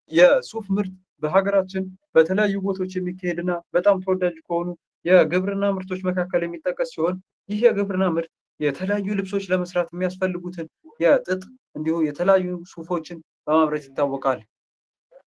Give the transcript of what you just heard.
የሱፍ ምርት በሀገራችን በተለያዩ ቦታዎች የሚካሄድ እና በጣም ተወዳጅ ከሆኑ የግብርና ምርቶች መካከል የሚጠቀስ ሲሆን ፤ ይሄ የግብርና ምርት የተለያዩ ልብሶች ለመስራት የሚያስፈልጉትን የጥጥ እንዲሁም የተለያዩ ሱፎችን በማምረት ይታወቃል።